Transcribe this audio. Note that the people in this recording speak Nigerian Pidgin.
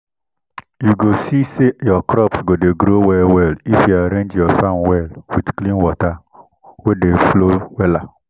you go see say your crops go dey grow well well if you arrange your farm well with clean water wey dey flow wella